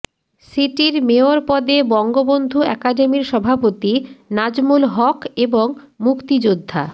সিটির মেয়র পদে বঙ্গবন্ধু একাডেমির সভাপতি নাজমুল হক এবং মুক্তিযোদ্ধা